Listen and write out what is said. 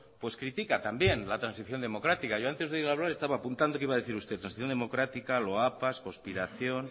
critica también la transición democrática yo antes de oírlo hablar estaba apuntando que iba a decir usted transición democrática loapas conspiración